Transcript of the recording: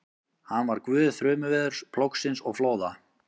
Hann var guð þrumuveðurs, plógsins og flóða.